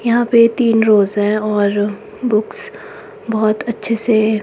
यहां पे तीन रोज हैं और बुक्स बहोत अच्छे से--